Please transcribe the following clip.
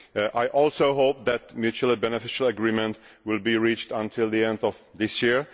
I also hope that mutual and beneficial agreement will be reached by the end of this year.